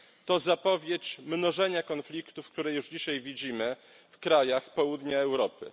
To zapowiedź mnożenia konfliktów, które już dzisiaj widzimy w krajach południa Europy.